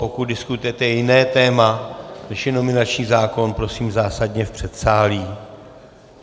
Pokud diskutujete jiné téma, než je nominační zákon, prosím zásadně v předsálí.